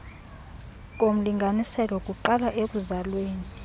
komlinganiselo kuqala ekuzalweni